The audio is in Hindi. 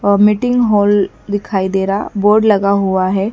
अ मीटिंग हॉल दिखाई दे रहा बोर्ड लगा हुआ है।